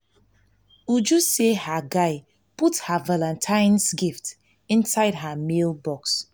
uju say her guy put her guy put her valantine's gift inside her mail box